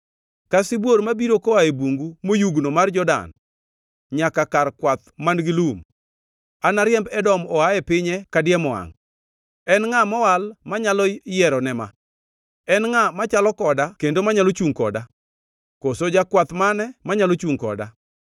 “Ka sibuor mabiro koa e bungu moyugno mar Jordan nyaka kar kwath man-gi lum, anariemb Edom oa e pinye kadiemo wangʼ. En ngʼa mowal manyalo yiero ne ma? En ngʼa machalo koda kendo manyalo chungʼ koda? Koso jakwath mane manyalo chungʼ koda?”